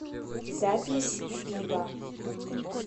запись вива